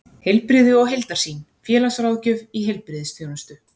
Heilbrigði og heildarsýn: félagsráðgjöf í heilbrigðisþjónustu.